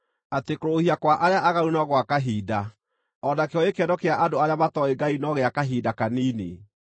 atĩ kũrũũhia kwa arĩa aaganu no gwa kahinda, o nakĩo gĩkeno kĩa andũ arĩa matooĩ Ngai no gĩa kahinda kanini.